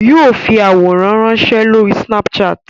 Yóò fi àwòrán ránsẹ́ lórí snapchat